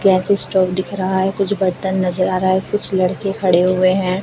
Gas stove दिख रहा है कुछ बर्तन नजर आ रहा है कुछ लड़के खड़े हुए हैं।